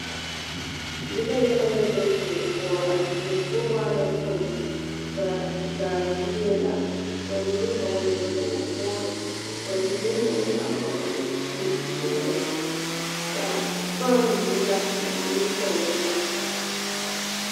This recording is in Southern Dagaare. Noba yaga la be die poɔ, a die poɔ waa la kpoŋ ba zaa gbie la ka ba mine hɔɔle nyɔbogi-woore ka bamine meŋ a vɔgle zupile peɛle ka fan biŋ la ba nimitɔɔreŋ.